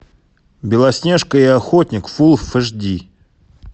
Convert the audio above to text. белоснежка и охотник фул эйч ди